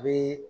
A bɛ